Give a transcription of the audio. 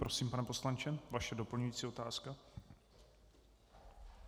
Prosím, pane poslanče, vaše doplňující otázka.